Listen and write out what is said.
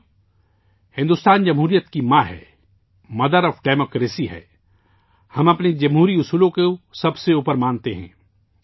ساتھیو، بھارت جمہوریت کی ماں ہے، مدر آف ڈیموکریسی ہے، ہم اپنے جمہوری قدروں کوبالاتر مانتے ہیں